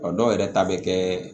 A dɔw yɛrɛ ta bɛ kɛ